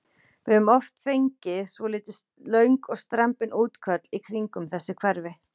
Við höfum oft fengið svolítið löng og strembin útköll í kringum þessi hverfi?